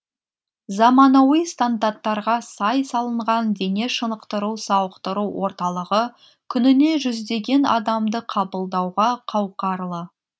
заманауи стандарттарға сай салынған дене шынықтыру сауықтыру орталығы күніне жүздеген адамды қабылдауға қауқарлы